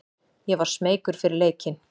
Ég var smeykur fyrir leikinn.